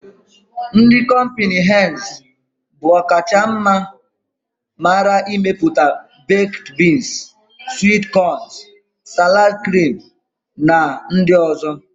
Ndị kọmpịnị henz bụ ọ kacha mara n'imepụta bekd biins, swit kọn, salad krim na ndị ọ̀zọ́.